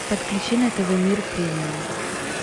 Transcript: подключи на тв мир премиум